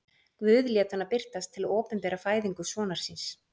Guð lét hana birtast til að opinbera fæðingu sonar síns.